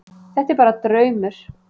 Þetta er bara draumur.